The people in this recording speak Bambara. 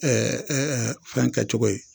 fɛn kɛ cogo ye.